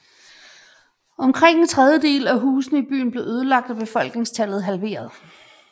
Omkring en tredjedel af husene i byen blev ødelagt og befolkningstallet halveret